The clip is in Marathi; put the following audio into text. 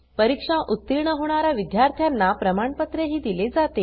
परीक्षा उतीर्ण होणा या विद्यार्थ्यांना प्रमाणपत्रही दिले जाते